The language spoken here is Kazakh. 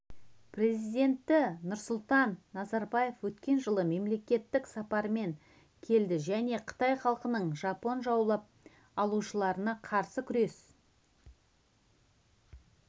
президенті нұрсұлтан назарбаев өткен жылы мемлекеттік сапармен келді және қытай халқының жапон жаулап алушыларына қарсы күрес